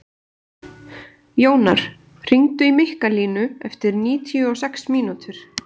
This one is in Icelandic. Jónar, hringdu í Mikkalínu eftir níutíu og sex mínútur.